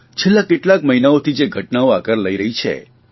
છેલ્લા કેટલાક મહિનાઓતી જે ઘટનાઓ આકાર લઇ રહી છે